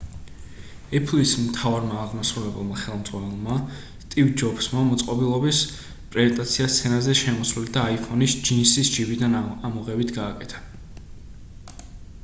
apple-ის მთავარმა აღმასრულებელმა ხელმძღვანელმა სტივ ჯობსმა მოწყობილობის პრეზენტაცია სცენაზე შემოსვლით და iphone-ის ჯინსის ჯიბიდან ამოღებით გააკეთა